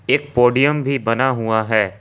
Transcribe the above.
एक पोडियम भी बना हुआ है ।